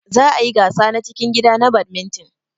Za ayi gasa na cikin gida na badminton.